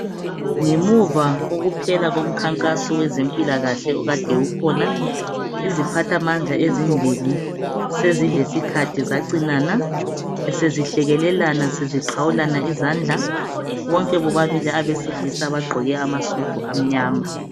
Ngemuva kokuphela komkhankaso wezempilakahle okade ukhona, iziphathamandla ezimbili, sezilesikhathi zacinana ,besezihlekelelana zixhawulana izandla, bonke bobabili abesilisa bagqoke amasudu amnyama